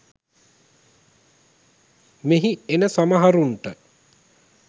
මෙහි එන සමහරුන්ට